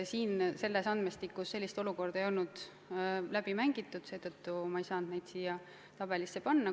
Selles andmestikus sellist olukorda ei olnud läbi mängitud ja seetõttu ei saanud ma neid andmeid siia tabelisse panna.